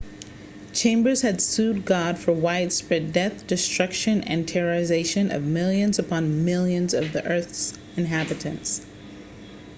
chambers had sued god for widespread death destruction and terrorization of millions upon millions of the earth's inhabitants